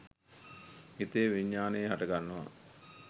හිතේ විඤ්ඤාණය හටගන්නවා.